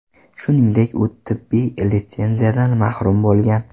Shuningdek, u tibbiy litsenziyadan mahrum bo‘lgan.